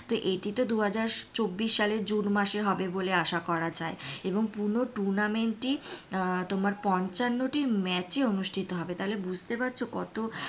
এইটি দুহাজার চব্বিশ সালে জুন মাসে হবে বলে আশা করা যায় এনং পূর্ণ tournament টি আহ তোমার পঞ্চান্ন টি match এ অনুষ্ঠিত হবে তাহলে বুজতে পারছো কত,